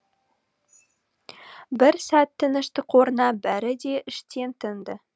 бір сәт тыныштық орнап бәрі де іштен тынды